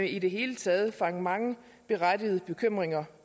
i det hele taget feje mange berettigede bekymringer